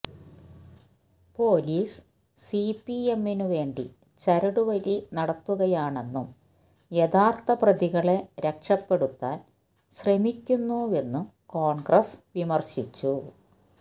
police സിപിഎമ്മിനുവേണ്ടി ചരടുവലി നടത്തുകയാണെന്നും യഥാർത്ഥ പ്രതികളെ രക്ഷപ്പെടുത്താൻ ശ്രമിക്കുന്നുവെന്നും കോൺഗ്രസ് വിമർശിച്ചു